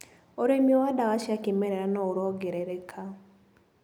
ũrĩmi wa ndawa cia kĩmerera noũrongerereka.